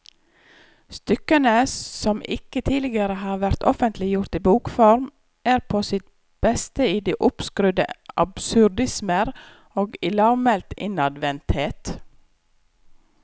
Stykkene, som ikke tidligere har vært offentliggjort i bokform, er på sitt beste i de oppskrudde absurdismer og i lavmælt innadvendthet.